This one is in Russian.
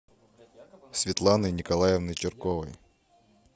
светланой николаевной чирковой